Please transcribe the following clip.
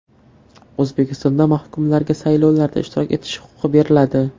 O‘zbekistonda mahkumlarga saylovlarda ishtirok etish huquqi beriladi.